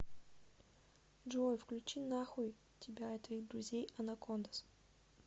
джой включи нахуй тебя и твоих друзей анакондаз